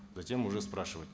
затем уже спрашивать